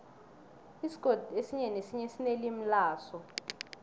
isigodi esinye nesinye sinelimi laso